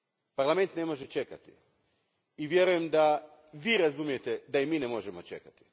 Parlament ne može čekati i vjerujem da Vi razumijete da mi ne možemo čekati.